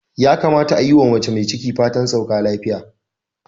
Ya kamata a yi wa mace mai ciki fatan sauka afiya.,